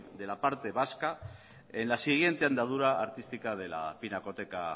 de la parte vasca en la siguiente andadura artística de la pinacoteca